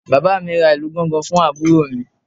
Bàbá mi ra ìlù gángan fún àbúrò mi